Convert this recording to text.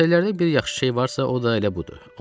Karusellərdə bir yaxşı şey varsa, o da elə budur.